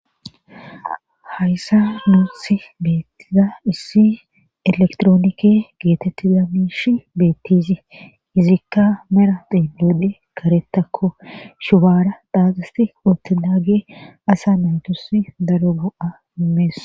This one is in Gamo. hayssa nuusi beettiza issi elektroonike geetetti damishi beettizi izikka mera deemide karetakko shubaara dhaaqisti qoti daage asa naytos daro go7a immees